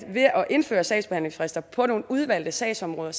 indføre sagsbehandlingsfrister på nogle udvalgte sagsområder